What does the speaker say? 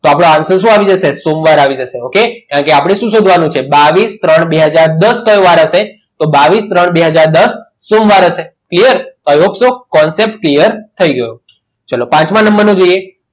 તો આપણો answer શું આવી જશે સોમવાર આવી જશે okay કારણ કે આપણે શું શોધવાનું છે બાવીસ ત્રણ બે હાજર દસ કયો વાર હશે તો બાવીસ ત્રણ બે હાજર દસ સોમવાર હશે clear concept clear થઈ ગયો ચલો પાંચમા number નું જોઈએ.